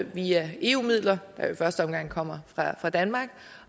via eu midler der jo i første omgang kommer fra danmark